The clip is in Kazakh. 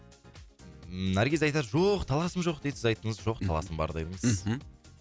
наргиз айтады жоқ таласым жоқ дейді сіз айттыңыз жоқ таласым бар дедіңіз мхм